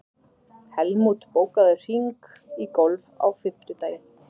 Helmút, bókaðu hring í golf á fimmtudaginn.